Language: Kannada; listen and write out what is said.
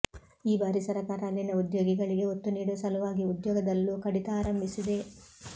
ಈ ಬಾರಿ ಸರಕಾರ ಅಲ್ಲಿನ ಉದ್ಯೋಗಿಗಳಿಗೆ ಒತ್ತು ನೀಡುವ ಸಲುವಾಗಿ ಉದ್ಯೋಗದಲ್ಲೂ ಕಡಿತ ಆರಂಭಿಸಿದೆ